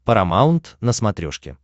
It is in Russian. парамаунт на смотрешке